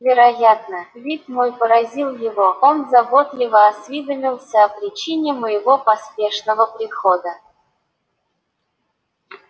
вероятно вид мой поразил его он заботливо осведомился о причине моего поспешного прихода